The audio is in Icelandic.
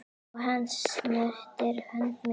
Og hann snerti hönd mína.